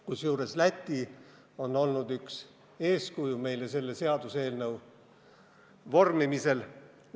Kusjuures Läti on meile selle seaduseelnõu vormimisel olnud üks eeskuju.